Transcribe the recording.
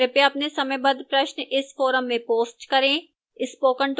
कृपया अपने समयबद्ध प्रश्न इस forum में post करें